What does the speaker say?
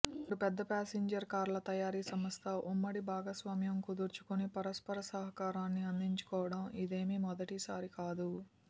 రెండు పెద్ద ప్యాసింజర్ కార్ల తయారీ సంస్థ ఉమ్మడి భాగస్వామ్యం కుదుర్చుకుని పరస్పర సహాకరాన్ని అందించుకోవడం ఇదేమీ మొదటిసారి కాదు